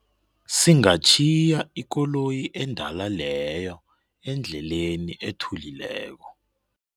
Singatjhiya ikoloyi endala leyo endleleni ethulileko.